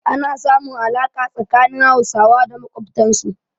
Ana samun alaƙa tsakanin Hausawa da makwabtansu.